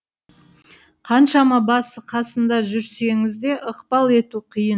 қаншама басы қасында жүрсеңіз де ықпал ету қиын